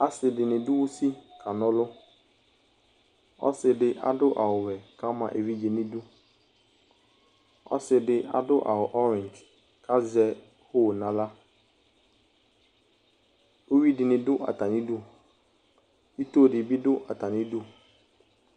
Asidini du usili kanɔluɔsidi adu awuwɛ Ɔsidi adu awu orige uwii dinii duu atanidu uvidini du atanidu